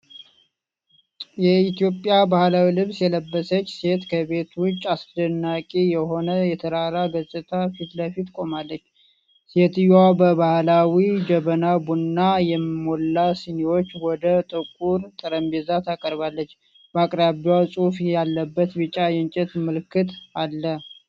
የኢትዮጵያን ባህላዊ ልብስ የለበሰች ሴት ከቤት ውጭ አስደናቂ የሆነ የተራራ ገጽታ ፊት ለፊት ቆማለች። ሴትየዋ በባህላዊ ጀበና ቡና የሞላ ሲኒዎች ወደ ጥቁር ጠረጴዛ ታቀርባለች። በአቅራቢያው ጽሑፍ ያለበት ቢጫ የእንጨት ምልክት አለ።